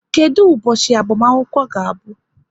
Kedụ ụbọchị agbamakwụkwọ ga-abụ?